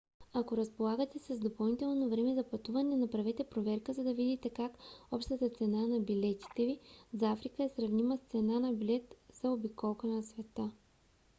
ако разполагате с допълнително време за пътуване направете проверка за да видите как общата цена на билета ви за африка е сравнима с цена на билет за обиколка на света